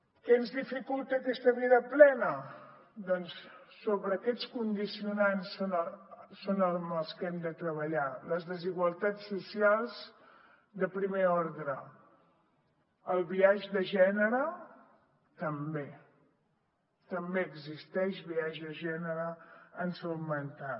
què ens dificulta aquesta vida plena doncs sobre aquests condicionants és sobre els que hem de treballar les desigualtats socials de primer ordre el biaix de gènere també també existeix biaix de gènere en salut mental